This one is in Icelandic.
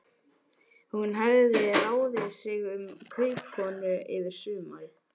Hún hafði ráðið sig sem kaupakonu yfir sumarið.